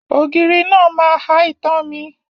Ògiri náà máa ha itan mi.